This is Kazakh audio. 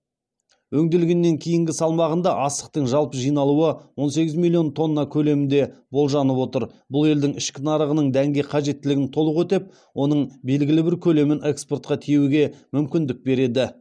өңделгеннен кейінгі салмағында астықтың жалпы жиналуы он сегіз миллион тонна көлемінде болжанып отыр бұл елдің ішкі нарығының дәнге қажеттілігін толық өтеп оның белгілі бір көлемін экспортқа тиеуге мүмкіндік береді